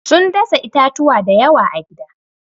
Sun dasa itatuwa da yawa a gida.